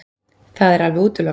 Það er alveg útilokað.